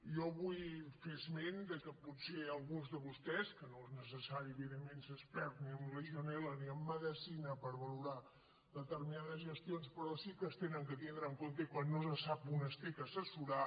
jo vull fer esment que potser alguns de vostès que no és necessari evidentment ser expert ni en legionel·la ni en medecina per valorar determinades gestions pe·rò sí que s’han de tindre en compte i quan no se’n sap un s’ha d’assessorar